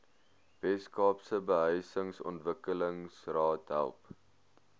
weskaapse behuisingsontwikkelingsraad help